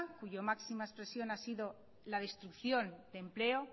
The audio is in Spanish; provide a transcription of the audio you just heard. cuya máxima expresión ha sido la destrucción de empleo